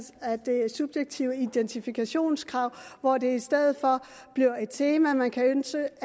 af det subjektive identifikationskrav hvor det i stedet for bliver et tema man kan søge